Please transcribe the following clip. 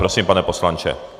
Prosím, pane poslanče.